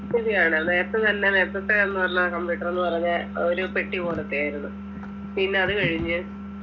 ശരിയാണ് നേരത്തെ തന്നെ നേരത്തെത് എന്ന് പറഞ്ഞ computer എന്ന് പറഞ്ഞാ ഏർ ഒരു പെട്ടി പോലത്തെ ആയിരുന്നു പിന്നെ അത് കഴിഞ്ഞ്